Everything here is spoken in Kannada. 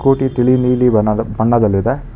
ಕೋಟಿ ತಿಳಿ ನೀಲಿ ಬಣ್ಣದ ಬಣ್ಣದಲ್ಲಿದೆ.